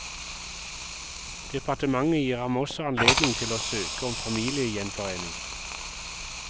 Departementet gir ham også anledning til å søke om familiegjenforening.